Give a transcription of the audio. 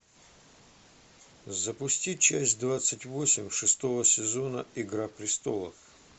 запусти часть двадцать восемь шестого сезона игра престолов